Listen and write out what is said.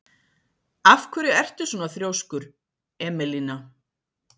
Af hverju ertu svona þrjóskur, Emelína?